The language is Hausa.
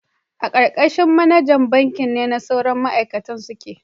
A karkashin manajan banki ne sauran ma'aikaci suke